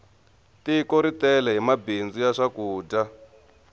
tiko ri tele hi mabindzu ya swakudya